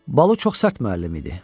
Balu çox sərt müəllim idi.